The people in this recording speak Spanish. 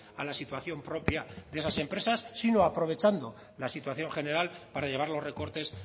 a la situación propia de las empresas sino aprovechando la situación general para llevar los recortes